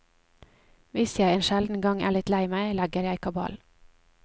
Hvis jeg en sjelden gang er litt lei meg, legger jeg kabal.